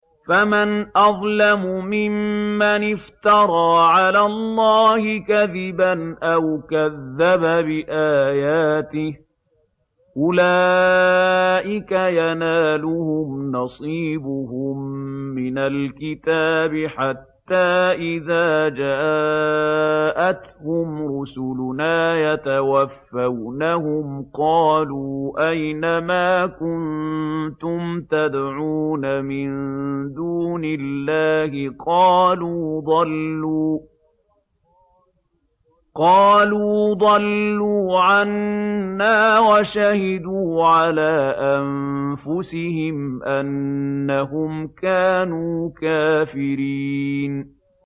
فَمَنْ أَظْلَمُ مِمَّنِ افْتَرَىٰ عَلَى اللَّهِ كَذِبًا أَوْ كَذَّبَ بِآيَاتِهِ ۚ أُولَٰئِكَ يَنَالُهُمْ نَصِيبُهُم مِّنَ الْكِتَابِ ۖ حَتَّىٰ إِذَا جَاءَتْهُمْ رُسُلُنَا يَتَوَفَّوْنَهُمْ قَالُوا أَيْنَ مَا كُنتُمْ تَدْعُونَ مِن دُونِ اللَّهِ ۖ قَالُوا ضَلُّوا عَنَّا وَشَهِدُوا عَلَىٰ أَنفُسِهِمْ أَنَّهُمْ كَانُوا كَافِرِينَ